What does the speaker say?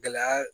Gɛlɛya